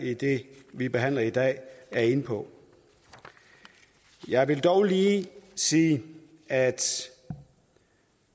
i det vi behandler i dag er inde på jeg vil dog lige sige at